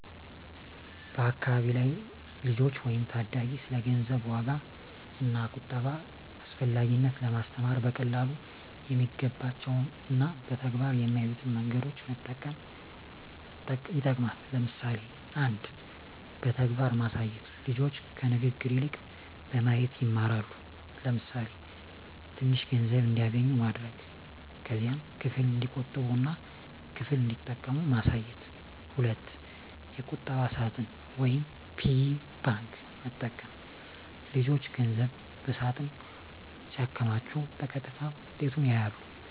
በአካባቢ ላሉ ልጆች ወይም ታዳጊ ስለ ገንዘብ ዋጋ እና ቁጠባ አስፈላጊነት ለማስተማር በቀላሉ የሚገባቸው እና በተግባር የሚያዩትን መንገዶች መጠቀም ይጠቅማል። ለምሳሌ 1. በተግባር ማሳየት ልጆች ከንግግር ይልቅ በማየት ይማራሉ። ለምሳሌ፣ ትንሽ ገንዘብ እንዲያገኙ ማድረግ። ከዚያም ክፍል እንዲቆጥቡ እና ክፍል እንዲጠቀሙ ማሳየት። 2. የቁጠባ ሳጥን (Piggy bank) መጠቀም ልጆች ገንዘብ በሳጥን ሲያከማቹ በቀጥታ ውጤቱን ያያሉ።